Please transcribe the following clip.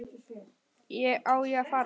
Á ég að fara?